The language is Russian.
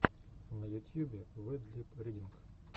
на ютьюбе вэд лип ридинг